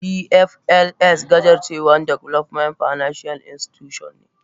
DFls gajarcewan development financial Institutions ne.